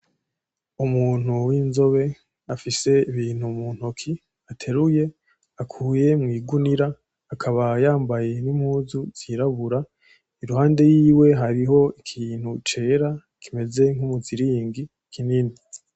Umuntu w'inzobe afise ibintu mu ntoki ateruye, akuye mw' igunira. akaba yambaye n'imuzu zirabura. Iruhande yiwe hariho ikintu cera kimeze nk'umuziringi kinini.